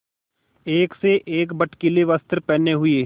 एक से एक भड़कीले वस्त्र पहने हुए